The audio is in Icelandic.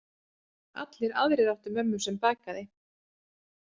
Allir aðrir áttu mömmu sem bakaði.